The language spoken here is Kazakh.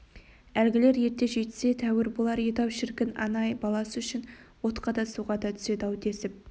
әлгілер ерте жетсе тәуір болар еді-ау шіркін ана-ай баласы үшін отқа да суға да түседі-ау десіп